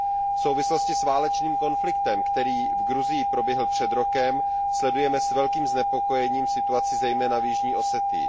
v souvislosti s válečným konfliktem, který v Gruzii proběhl před rokem, sledujeme s velkým znepokojením situaci zejména v Jižní Osetii.